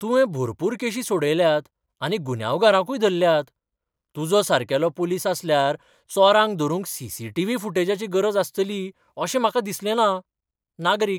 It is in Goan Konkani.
तुवें भरपूर केशी सोडयल्यात आनी गुन्यांवकारांकूय धरल्यात, तुजो सारकेलो पुलीस आसल्यार चोरांक धरूंक सी.सी.टी.व्ही. फुटेजाची गरज आसतली अशें म्हाका दिसलें ना. नागरीक